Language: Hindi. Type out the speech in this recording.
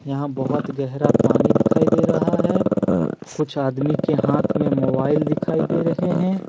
यहां बहुत गहरा पानी दिखाई दे रहा है कुछ आदमी के हाथ में मोबाइल दिखाई दे रहे हैं।